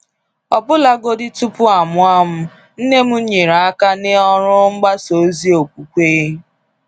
Ọbụlagodi tupu amụọ m, Nne m nyere aka n’ọrụ mgbasa ozi okwukwe.